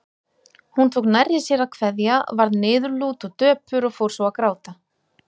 Hún tók nærri sér að kveðja, varð niðurlút og döpur og fór svo að gráta.